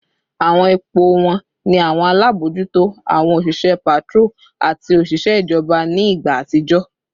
Awọn ipo wọn ni awọn alabojuto, awọn oṣiṣẹ patrol, ati oṣiṣẹ ijọba ni igba atijọ